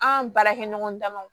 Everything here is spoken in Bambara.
An baarakɛɲɔgɔn damaw